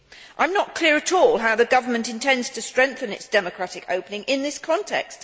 I am not clear at all how the government intends to strengthen its democratic opening in this context.